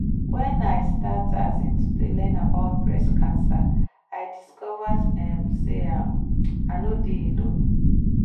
when i start um to dey learn about breast cancer i discover um say um i nor dey alone.